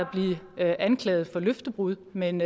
at blive anklaget for løftebrud men